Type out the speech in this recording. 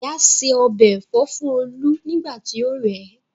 Ìyá ṣe ọbẹ̀ Ẹ̀fọ́ fún olú nígbà tí ó rẹ̀